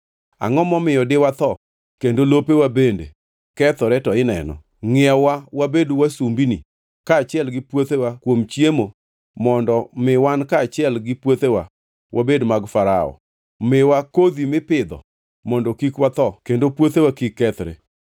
Angʼo momiyo diwatho kendo lopewa bende kethore to ineno? Ngʼiewa-wa wabed wasumbinini kaachiel gi puothewa kuom chiemo mondo mi wan kaachiel gi puothewa wabed mag Farao. Miwa kodhi mipidho mondo kik watho kendo puothewa kik kethre.”